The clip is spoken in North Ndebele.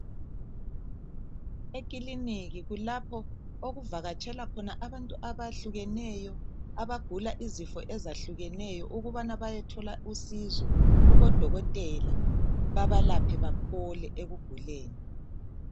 Ekiliniki kulapho okuvakatshela abantu abahlukeneyo abagula izifo ezahlukeneyo ukubana bayethola usizo kubodokotela babalaphe baphole ekuguleni.